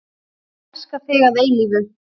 Elska þig að eilífu.